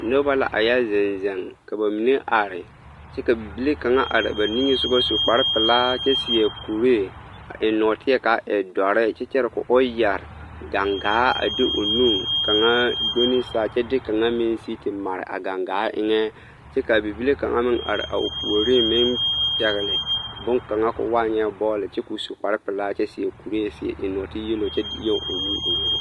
Noba la a yɛ zeŋ zeŋ ka bamine are kyɛ ka bibile kaŋ are ba niŋesogɔ su kpare pelaa kyɛ seɛ kuree a eŋ nɔɔteɛ k'a e dɔre kyɛ kyɛre k'o yɛre gaŋgaa a de o nu kaŋa do ne saa kyɛ de kaŋa meŋ sigi te mare a gaŋgaa eŋɛ kyɛ k'a bibile kaŋa meŋ are o puoriŋ meŋ pɛgele boŋkaŋa k'o waa nyɛ bɔɔle kyɛ k'o su kpare pelaa kyɛ seɛ kuree eŋ nɔɔte yelo kyɛ